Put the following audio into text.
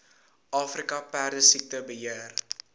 afrika perdesiekte beheer